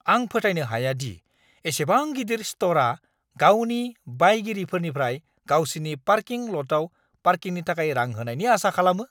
आं फोथायनो हाया दि एसेबां गिदिर स्ट'रआ गावनि बायगिरिफोरनिफ्राय गावसिनि पार्किं ल'टआव पार्किंनि थाखाय रां होनायनि आसा खालामो!